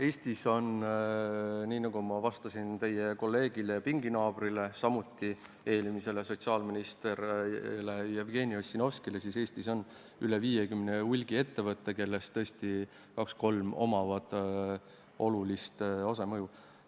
Eestis on – nii nagu ma vastasin teie kolleegile ja pinginaabrile, eelmisele sotsiaalministrile Jevgeni Ossinovskile – üle 50 hulgiettevõtte, kellest tõesti kaks-kolm omavad olulist osa, olulist mõju.